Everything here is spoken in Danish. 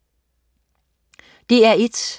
DR1: